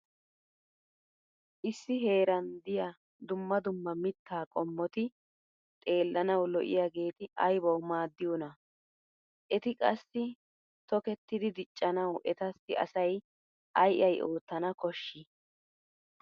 Issi heeran diya dumma dumma mittaa qommoti xeellanawu lo'iyageeti aybawu maaddiyonaa? Eti qassi tokettidi diccanawu etassi asay ay ay oottana koshshii?